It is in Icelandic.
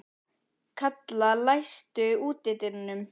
Kalla, læstu útidyrunum.